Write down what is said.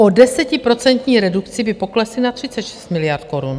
Po desetiprocentní redukci by poklesly na 36 miliard korun.